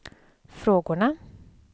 frågorna